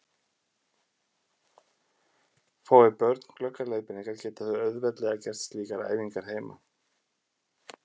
Fái börn glöggar leiðbeiningar geta þau auðveldlega gert slíkar æfingar heima.